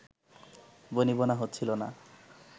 বনিবনা হচ্ছিলো না